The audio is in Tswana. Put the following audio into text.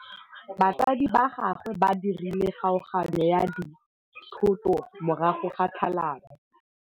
Batsadi ba gagwe ba dirile kgaoganyô ya dithoto morago ga tlhalanô.